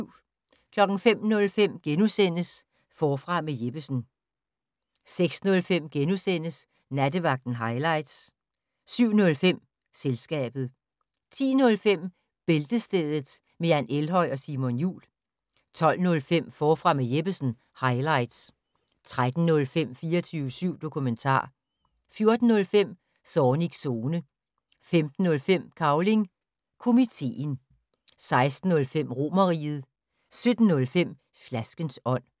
05:05: Forfra med Jeppesen * 06:05: Nattevagten highlights * 07:05: Selskabet 10:05: Bæltestedet med Jan Elhøj og Simon Jul 12:05: Forfra med Jeppesen - highlights 13:05: 24syv dokumentar 14:05: Zornigs Zone 15:05: Cavling Komiteen 16:05: Romerriget 17:05: Flaskens ånd